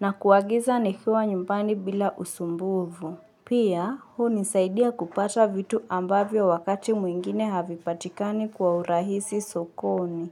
na kuagiza nikiwa nyumbani bila usumbufu. Pia, huu nisaidia kupata vitu ambavyo wakati mwingine havipatikani kwa urahisi sokoni.